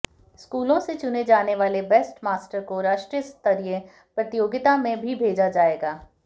स्कूलों से चुने जाने वाले बेस्ट मास्टर को राष्ट्रीय स्तरीय प्रतियोगिता में भी भेजा जाएगा